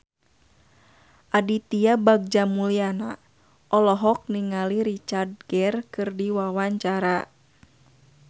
Aditya Bagja Mulyana olohok ningali Richard Gere keur diwawancara